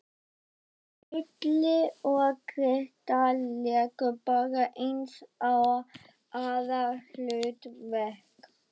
En Stulli og Gréta léku bara eins og aðalhlutverk!